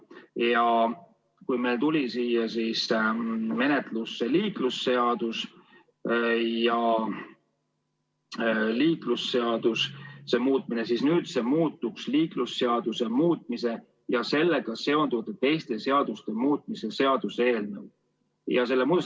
Algul tuli menetlusse liiklusseaduse muutmise seaduse eelnõu, nüüd on see muutunud liiklusseaduse muutmise ja sellega seonduvalt teiste seaduste muutmise seaduse eelnõuks.